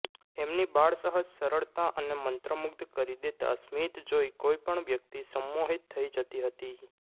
એમની બાળસહજ સરળતા અને મંત્રમુગ્ધ કરી દેતા સ્મિત જોઇ કોઇપણ વ્યક્તિ સંમોહિત થઇ જતી હતી